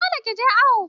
Dole ki je awo!